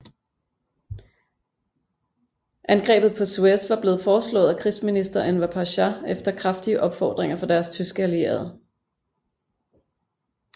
Angrebet på Suez var blevet foreslået af krigsminister Enver Pasha efter kraftige opfordringer fra deres tyske allierede